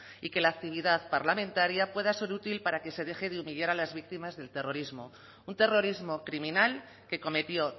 y que la actividad parlamentaria pueda ser útil para que se deje de humillar a las víctimas del terrorismo un terrorismo criminal que cometió